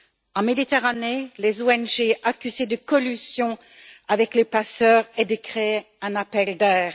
En Méditerranée, les ONG accusées de collusion avec les passeurs et de créer un appel d'air.